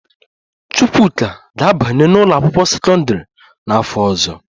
Chukwuka ga-abanye n'ụlọakwụkwọ sekọndịrị n'afọ ọzọ